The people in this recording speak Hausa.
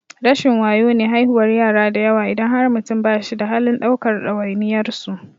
Rashin wayo ne haihuwar yara dayawa idan har mutum ba shi da halin ɗaukar ɗawainiyar su.